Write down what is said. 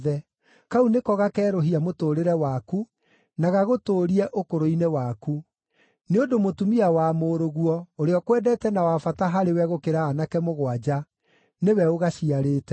Kau nĩko gakerũhia mũtũũrĩre waku, na gagũtũũrie ũkũrũ-inĩ waku. Nĩ ũndũ mũtumia wa mũrũguo, ũrĩa ũkwendete na wa bata harĩ we gũkĩra aanake mũgwanja, nĩwe ũgaciarĩte.”